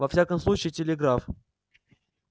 во всяком случае телеграф